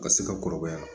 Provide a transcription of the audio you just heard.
Ka se ka kɔrɔbaya